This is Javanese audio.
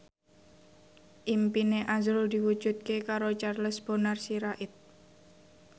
impine azrul diwujudke karo Charles Bonar Sirait